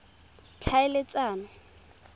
tlhaeletsano